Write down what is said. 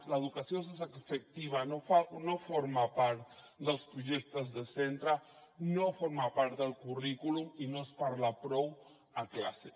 l’educació sexoafectiva no forma part dels projectes de centre no forma part del currículum i no se’n parla prou a classe